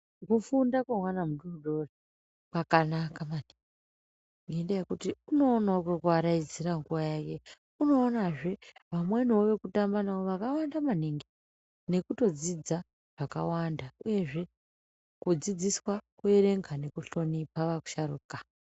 Kufunda kwemwana mudoodori kwakanaka mani, ngendaa yekuti unoonawo kwekuaraidzira nguva yake. Unoonazve vamweniwo vekutamba navo vakawanda maningi nekutodzidza zvakawanda uyezve kudzidziswa kuerenga nekuhlonipa vasharuka.